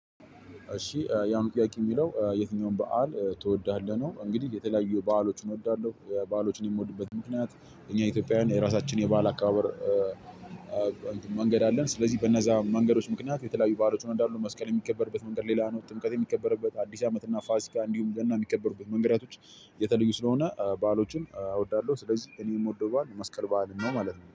እሺ የአሁኑ ጥያቄ የሚለው የትኛውን በዓል ትወዳለህ ነው? እንግዲህ የተለያዩ በአሎችን እወዳለሁ በአሎችን የምወድበት ምክንያት እኛ ኢትዮጵያውያን የራሳችን የበአል አከባበር መንገድ አለን። ስለዚህ በነዛ መንገዶች ምክንያት የተለያዩ በአሎችን እወዳለሁ መስቀል የሚከበርበት መንገድ ሌላ ነው ጥምቀት የሚከበርበት አዲስ አመት እና ፋሲካ እንዲሁም ገና የሚከበሩበት መንገዳቶች የተለዩ ስለሆነ በዓሎችን እወዳለሁ። ስለዚህ እኔ የምወደው በዓል መስቀል በዓልን ነው ማለት ነው